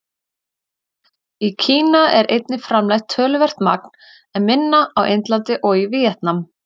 Í Kína er einnig framleitt töluvert magn, en minna á Indlandi og í Víetnam.